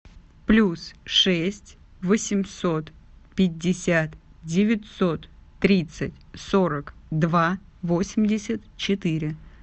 плюс шесть восемьсот пятьдесят девятьсот тридцать сорок два восемьдесят четыре